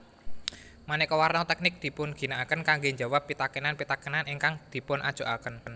Maneka warna teknik dipunginakaken kangge njawab pitakenan pitakenan ingkang dipunajokaken